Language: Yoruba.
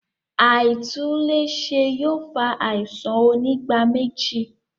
Aitunle ṣe yóò fa àisàn onígbáméjì